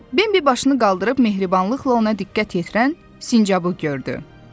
Bembi başını qaldırıb mehribanlıqla ona diqqət yetirən sincabı gördü.